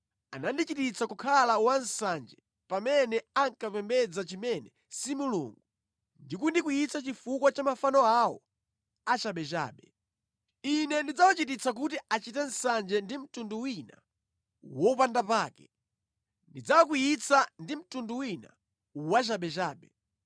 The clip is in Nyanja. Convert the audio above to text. Anandichititsa kukhala wansanje pamene ankapembedza chimene si mulungu ndi kundikwiyitsa chifukwa cha mafano awo achabechabe. Ine ndidzawachititsa kuti achite nsanje ndi mtundu wina wopandapake; ndidzawakwiyitsa ndi mtundu wina wachabechabe.